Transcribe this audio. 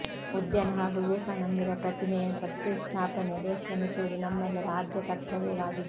ಉದ್ಯಾನ ಹಾಗೂ ವಿವೇಕಾನಂದರ ಪ್ರತಿ ಮೆಯ ಪ್ರತಿಷ್ಠಾಪನೆಗೆ ಶ್ರಮಿಸುವುದು ನಮ್ಮೆಲ್ಲರ ಆದ್ಯ ಕರ್ತವ್ಯವಾಗಿದೆ